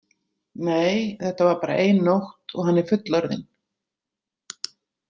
Nei, þetta var bara ein nótt og hann er fullorðinn.